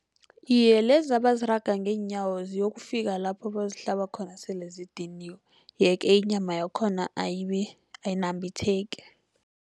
Iye, lezi abaziraga ngeenyawo, ziyokufika lapho bayozihlaba khona sele zidiniwe. Ye-ke inyama yakhona ayinambitheki.